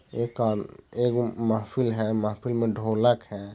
एक-एक महेफिल है महफ़िल में ढोलक है।